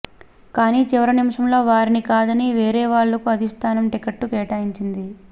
కానీ చివరి నిముషంలో వారిని కాదని వేరే వాళ్లకు అధిష్టానం టికెట్లు కేటాయించింది